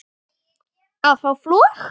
að fá flog